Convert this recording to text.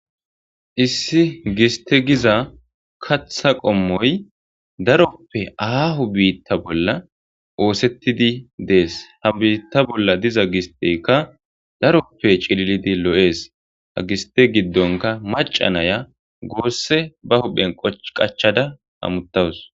Issi giste giza katha qommoy daroppe aahu biitta bolla oosettidi dees ha biitta bolla diza gistekka daroppe cililidi lo'ees ha giste giddonka maca naya gosse ba huphen qachada ha muttawus.